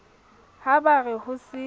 ha ba re ho se